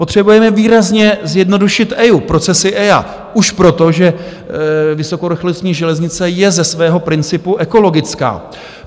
Potřebujeme výrazně zjednodušit EIA, procesy EIA, už proto, že vysokorychlostní železnice je ze svého principu ekologická.